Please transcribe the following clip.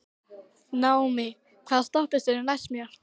Naómí, hvaða stoppistöð er næst mér?